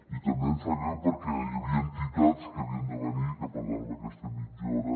i també em sap greu perquè hi havia entitats que havien de venir i que per tant amb aquesta mitja hora